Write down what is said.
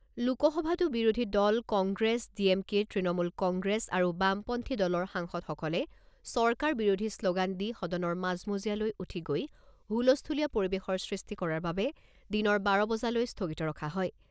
লোকসভাতো বিৰোধীদল কংগ্ৰেছ, ডিএমকে, তৃণমূল কংগ্ৰেছ আৰু বামপন্থী দলৰ সাংসদসকলে চৰকাৰ বিৰোধী শ্ল'গান দি সদনৰ মাজমজিয়ালৈ উঠি গৈ হুলস্থূলীয়া পৰিবেশৰ সৃষ্টি কৰাৰ বাবে দিনৰ বাৰ বজালৈ স্থগিত ৰখা হয়।